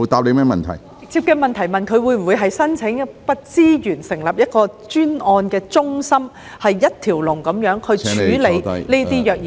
我剛才直接問他會否申請資源成立一間專案中心，以一條龍的方式處理虐兒個案。